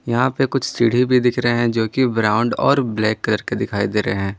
यहां पे कुछ सीढ़ी भी दिख रहे हैं जो कि ब्राउन और ब्लैक कलर के दिखाई दे रहे हैं।